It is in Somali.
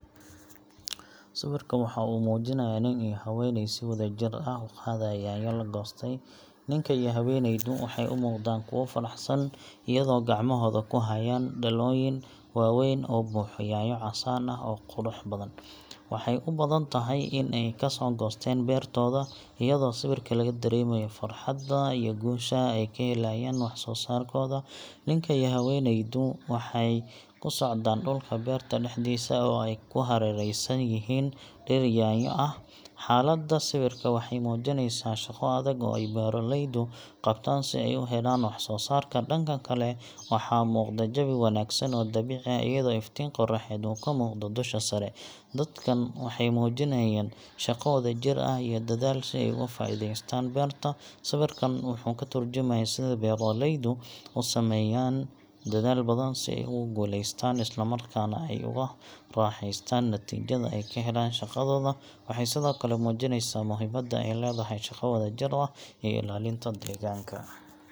Sawirka waxa uu muujinayaa nin iyo haweenay si wadajir ah u qaadaya yaanyo la goostay. Ninka iyo haweenaydu waxay u muuqdaan kuwo faraxsan, iyadoo gacmahooda ku hayaan dhalooyin waaweyn oo buuxo yaanyo casaan ah oo qurux badan. Waxay u badan tahay in ay ka soo goosteen beertooda, iyadoo sawirka laga dareemayo farxadda iyo guusha ay ka helayaan wax soo saarkooda. Ninka iyo haweenaydu waxay ku socdaan dhulka beerta dhexdiisa, oo ay ku hareeraysan yihiin dhir yaanyo ah. Xaaladda sawirka waxay muujinaysaa shaqo adag oo beeralaydu qabtaan si ay u helaan wax soo saarka. Dhanka kale, waxaa muuqda jawi wanaagsan oo dabiici ah, iyadoo iftiin qoraxeed uu ka muuqdo dusha sare. Dadkan waxay muujiyeen shaqo wadajir ah iyo dadaal si ay uga faa’iidaystaan beerta. Sawirkan wuxuu ka tarjumayaa sida beeraleydu u sameeyaan dadaal badan si ay ugu guuleystaan, isla markaana ay ugu raaxeystaan natiijada ay ka helaan shaqadooda. Waxay sidoo kale muujinaysaa muhiimada ay leedahay shaqo wadajir iyo ilaalinta deegaanka.